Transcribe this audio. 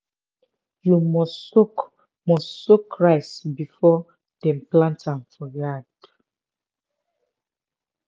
you must soak must soak rice before dem plant am for yard.